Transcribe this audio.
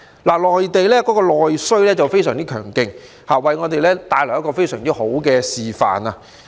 內地的內需非常強勁，給我們一個非常好的示範。